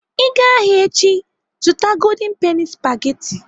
Ị gaa ahịa echi, zụta golden penny spageti.